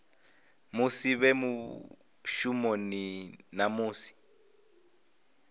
musi vhe mushumoni na musi